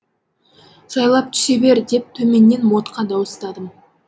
жайлап түсіре бер деп төменнен модқа дауыстадым